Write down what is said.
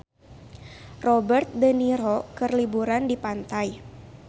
Robert de Niro keur liburan di pantai